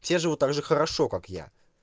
все живут также хорошо как я